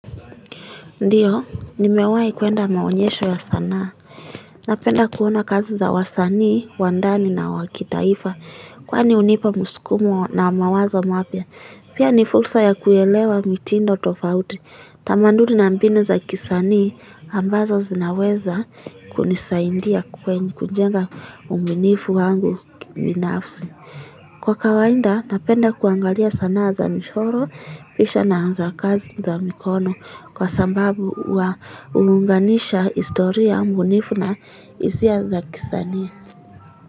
Ndiyo nimewai kuenda maonyesho ya sanaa napenda kuona kazi za wasanii wa ndani na wa kitaifa kwani hunipa msukumo na mawazo mapya pia ni fursa ya kuelewa mitindo tofauti tamaduni na mbinu za kisanii ambazo zinaweza kunisaidia kujenga ubunifu wangu kibinafsi kwa kawaida napenda kuangalia sana za michoro picha na za kazi za mikono kwa sababu hulinganisha historia bunifu na hisia za kisani.